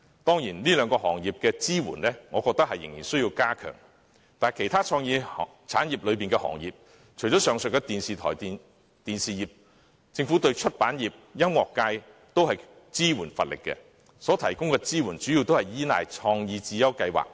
當然，對於這兩個行業的支援，我認為是仍需加強的，但除了上述的電台電視業外，政府對其他創意產業，例如出版業和音樂界等，也是支援乏力的，所提供的支援主要依賴"創意智優計劃"。